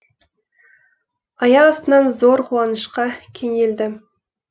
аяқ астынан зор қуанышқа кенелдім